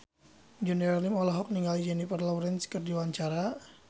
Junior Liem olohok ningali Jennifer Lawrence keur diwawancara